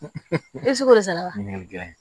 ese ko sala ɲininkali